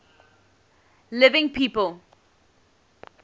living people